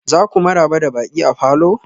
za ku maraba da baƙi a falor?